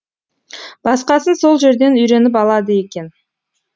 басқасын сол жерден үйреніп алады екен